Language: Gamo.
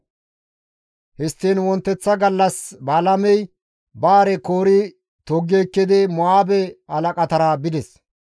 Histtiin wonteththa gallas Balaamey ba hare koori toggi ekkidi Mo7aabe halaqatara bides.